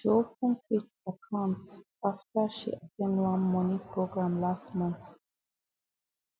she open quick account after she at ten d one money program last month